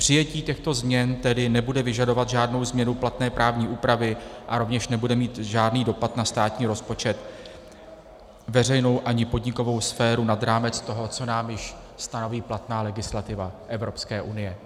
Přijetí těchto změn tedy nebude vyžadovat žádnou změnu platné právní úpravy a rovněž nebude mít žádný dopad na státní rozpočet, veřejnou ani podnikovou sféru nad rámec toho, co nám již stanoví platná legislativa Evropské unie.